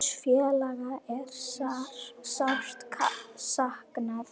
Góðs félaga er sárt saknað.